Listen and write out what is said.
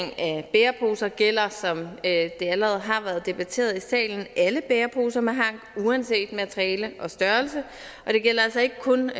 bæreposer gælder som det allerede har været debatteret i salen alle bæreposer med hank uanset materiale og størrelse det gælder altså ikke kun